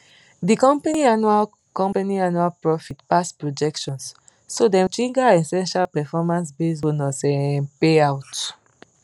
di company annual company annual profit pass projections so dem trigger essential performancebased bonus um payout